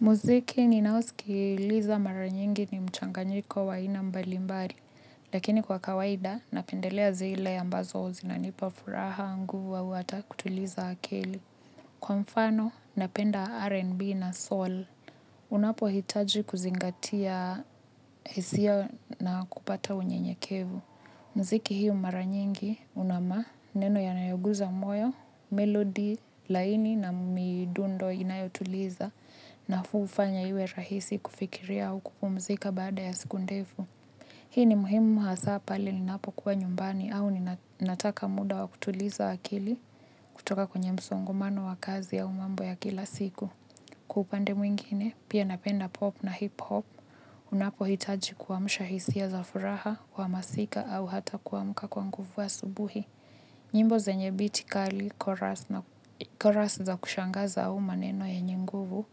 Muziki ninaosikiliza mara nyingi ni mchanganyiko wa aina mbalimbali, lakini kwa kawaida napendelea zile ambazo zinanipa furaha nguvu au hata kutuliza akili. Kwa mfano, napenda R&B na soul. Unapohitaji kuzingatia hisia na kupata unyenyekevu. Muziki hio mara nyingi una maneno yanayoguza moyo, melodi laini na midundo inayotuliza nafaa ufanya iwe rahisi kufikiria au kupumzika baada ya siku ndefu. Hii ni muhimu hasa pale ninapokuwa nyumbani au ninataka muda wa kutuliza akili kutoka kwenye msongamano wa kazi ya mambo ya kila siku. Kwa upande mwingine pia napenda pop na hip hop unapohitaji kuamsha hisia za furaha uhamasika au hata kuamka kwa nguvu asubuhi. Nyimbo zenye beat kali chorus na chorus za kushangaza au maneno yenye nguvu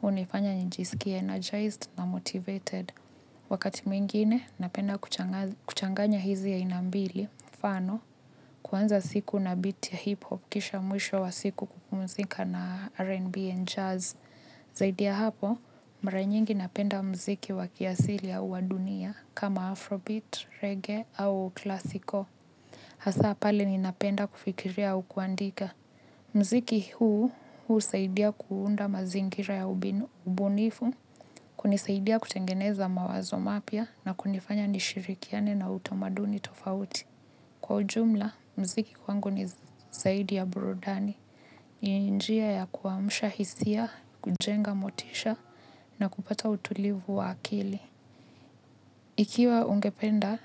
hunifanya nijisikie energized na motivated. Wakati mwingine napenda kuchanganya hizi aina mbili mfano kuanza siku na beat ya hip hop kisha mwisho wa siku kupumzika na rnb and jazz. Zaidia ya hapo, mara nyingi napenda muziki wa kiasili au wa dunia kama afrobeat, reggae au klasiko. Hasa pale ninapenda kufikiria au kuandika. Muziki huu, huu husaidia kuunda mazingira ya ubunifu, kunisaidia kutengeneza mawazo mapya na kunifanya nishirikiane na utamaduni tofauti. Kwa ujumla muziki kwangu ni zaidi ya burudani. Ni njia ya kuamsha hisia, kujenga motisha na kupata utulivu wa akili. Ikiwa ungependa.